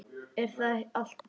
Er þá allt búið?